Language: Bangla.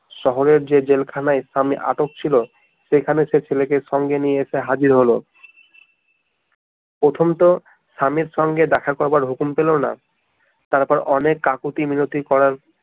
শহরের যে জেলখানায় স্বামী আটক ছিল সেখানে সে ছেলেকে সঙ্গে নিয়ে এসে হাজির হলো প্রথম তো স্বামীর সঙ্গে দেখা করার হুকুম ছিল না তারপর অনেক কাকুতি মিনতি করার